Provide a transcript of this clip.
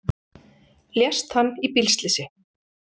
Lést hann í bílslysi